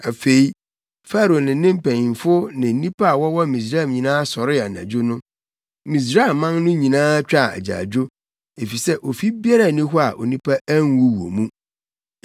Afei, Farao ne ne mpanyimfo ne nnipa a wɔwɔ Misraim nyinaa sɔree anadwo no. Misraiman no nyinaa twaa agyaadwo, efisɛ ofi biara nni hɔ a onipa anwu wɔ mu.